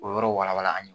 O yɔrɔ walawala an ye